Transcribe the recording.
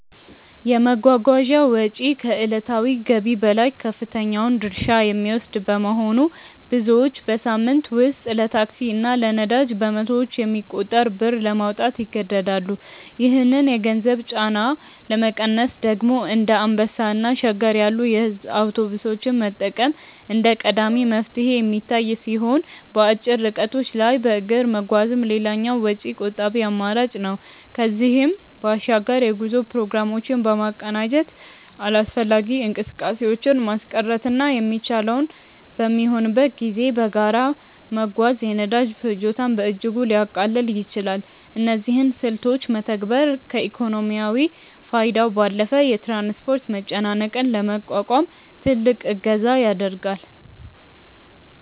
የመጓጓዣ ወጪ ከዕለታዊ ገቢ ላይ ከፍተኛውን ድርሻ የሚወስድ በመሆኑ፣ ብዙዎች በሳምንት ውስጥ ለታክሲ እና ለነዳጅ በመቶዎች የሚቆጠር ብር ለማውጣት ይገደዳሉ። ይህንን የገንዘብ ጫና ለመቀነስ ደግሞ እንደ አንበሳ እና ሸገር ያሉ የሕዝብ አውቶቡሶችን መጠቀም እንደ ቀዳሚ መፍትሄ የሚታይ ሲሆን፣ በአጭር ርቀቶች ላይ በእግር መጓዝም ሌላው ወጪ ቆጣቢ አማራጭ ነው። ከዚህም በባሻግር የጉዞ ፕሮግራሞችን በማቀናጀት አላስፈላጊ እንቅስቃሴዎችን ማስቀረትና የሚቻለው በሚሆንበት ጊዜ በጋራ መጓዝ የነዳጅ ፍጆታን በእጅጉ ሊያቃልል ይችላል። እነዚህን ስልቶች መተግበር ከኢኮኖሚያዊ ፋይዳው ባለፈ የትራንስፖርት መጨናነቅን ለመቋቋም ትልቅ እገዛ ያደርጋል።